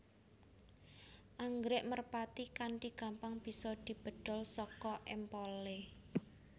Anggrèk merpati kanthi gampang bisa dibedhol saka empolé